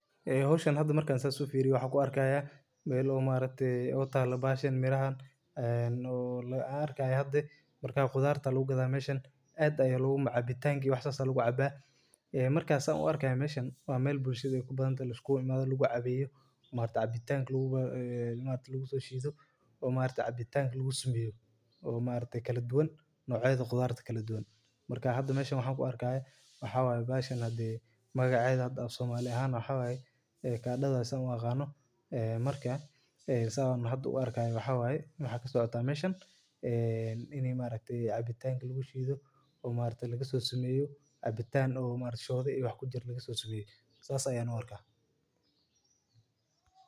Howshan hada marki aan fiiriyo waxaa yaala sanduuq yaryar oo nafaqo leh waxaa muhiim ah in si joogta ah loo waraabiyo gaar ahaan meelaha koranta taas oo mujineyso muhiimada aay ledahay faaidoyin badan oo somaliyeed ayaa laga helaa wax yaaba fara badan ayaa laga helaa.